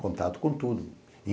Contato com tudo.